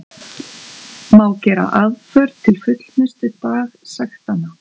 Má gera aðför til fullnustu dagsektanna.